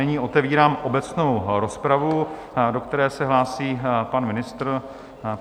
Nyní otevírám obecnou rozpravu, do které se hlásí pan ministr.